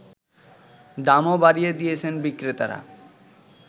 দামও বাড়িয়ে দিয়েছেন বিক্রেতারা